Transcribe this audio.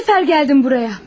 Kaç səfər gəldim buraya.